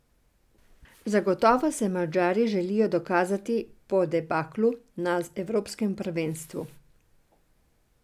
Zagotovo se Madžari želijo dokazati po debaklu na evropskem prvenstvu.